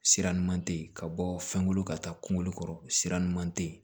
Sira ɲuman tɛ yen ka bɔ fɛnko la ka taa kungolo kɔrɔ sira ɲuman tɛ yen